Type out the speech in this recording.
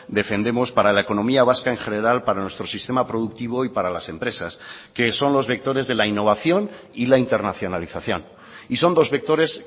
defendemos para la economía vasca en general para nuestro sistema productivo y para las empresas que son los vectores de la innovación y la internacionalización y son dos vectores